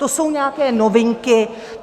To jsou nějaké novinky.